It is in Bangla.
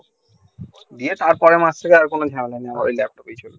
দিয়ে তার পরের মাস থেকে কোনো ঝামেলা নেই ওই ল্যাপটপেই চলবে